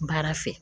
Baara fɛ